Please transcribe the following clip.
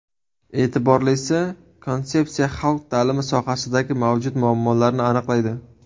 E’tiborlisi, konsepsiya xalq ta’limi sohasidagi mavjud muammolarni aniqlaydi.